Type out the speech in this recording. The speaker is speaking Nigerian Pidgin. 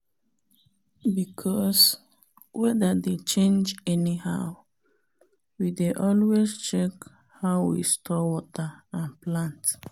because weather dey change anyhow we dey always check how we store water and plant